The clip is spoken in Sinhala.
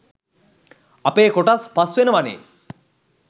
අපේ කොටස් පස් වෙනවනේ